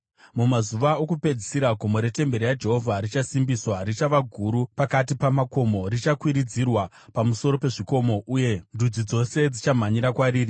Mumazuva okupedzisira, gomo retemberi yaJehovha richasimbiswa, richava guru pakati pamakomo; richakwiridzirwa pamusoro pezvikomo, uye ndudzi dzose dzichamhanyira kwariri.